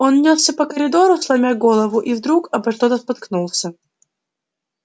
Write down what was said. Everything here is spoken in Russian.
он нёсся по коридору сломя голову и вдруг обо что-то споткнулся